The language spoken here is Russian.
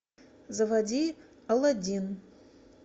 заводи аладдин